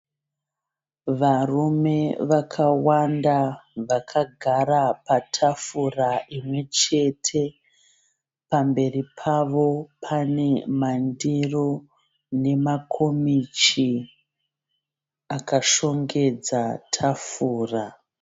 Varume vakawanda vakagara patafura imwechete, pamberi pavo pane mandiro nemakomichi akashongedza tafura.